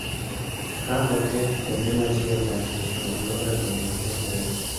Ka oketh kuonde ma ji odakie, to alwora bende kethore.